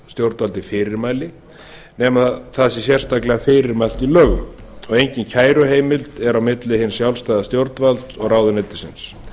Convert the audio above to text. stjórnvaldi fyrirmæli nema það sé sérstaklega fyrir mælt í lögum og engin kæruheimild er milli hins sjálfstæða stjórnvalds og ráðuneytisins